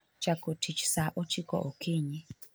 chako tich sa ochiko okinyi